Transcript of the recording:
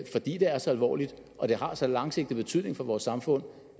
fordi det er så alvorligt og det har så langsigtet betydning for vores samfund